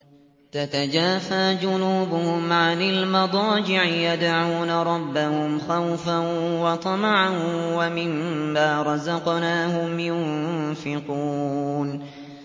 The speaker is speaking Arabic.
تَتَجَافَىٰ جُنُوبُهُمْ عَنِ الْمَضَاجِعِ يَدْعُونَ رَبَّهُمْ خَوْفًا وَطَمَعًا وَمِمَّا رَزَقْنَاهُمْ يُنفِقُونَ